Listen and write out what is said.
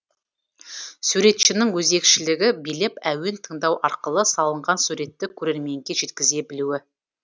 суретшінің өзекшілігі билеп әуен тыңдау арқылы салынған суретті көрерменге жеткізе білуі